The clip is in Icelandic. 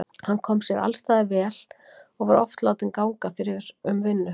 Hann kom sér alls staðar vel og var oft látinn ganga fyrir um vinnu.